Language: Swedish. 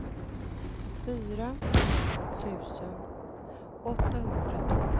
fyrtiotvå tusen åttahundrasexton